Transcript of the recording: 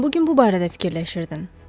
Sən bu gün bu barədə fikirləşirdin.